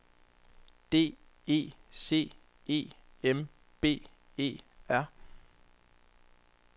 D E C E M B E R